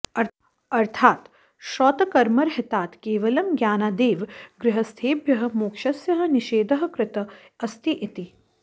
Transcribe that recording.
अर्थात् श्रौतकर्मरहितात् केवलं ज्ञानादेव गृहस्थेभ्यः मोक्षस्य निषेधः कृतः अस्ति इति